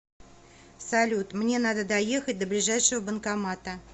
салют мне надо доехать до ближайшего банкомата